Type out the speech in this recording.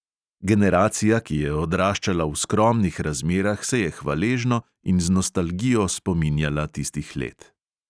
Generacija, ki je odraščala v skromnih razmerah, se je hvaležno in z nostalgijo spominjala tistih let.